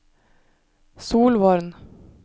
Solvorn